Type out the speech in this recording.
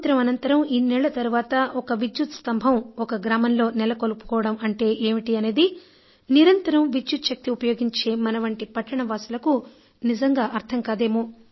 స్వాతంత్య్రం అనంతరం ఇన్నేళ్ళ తర్వాత ఒక విద్యుత్ స్తంభం ఒక గ్రామంలో నెలకొల్పుకోవడం అంటే ఏమిటి అనేది నిరంతరం విద్యుచ్ఛక్తి ఉపయోగించే మనవంటి పట్టణవాసులకు నిజంగా అర్థం కాదేమో